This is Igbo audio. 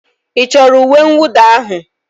Ị chọrọ uwe mwụda ahụ?